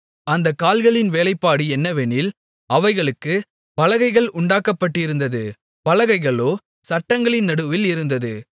அந்த கால்களின் வேலைப்பாடு என்னவெனில் அவைகளுக்கு பலகைகள் உண்டாக்கப்பட்டிருந்தது பலகைகளோ சட்டங்களின் நடுவில் இருந்தது